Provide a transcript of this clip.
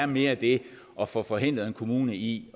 mere er det at få forhindret en kommune i